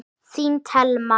Þín, Thelma.